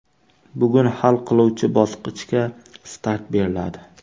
Bugun hal qiluvchi bosqichga start beriladi.